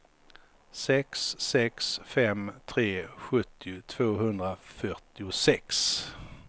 sex sex fem tre sjuttio tvåhundrafyrtiosex